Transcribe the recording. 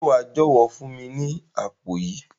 Se wa jọwọ fún mi ni àpò yìí?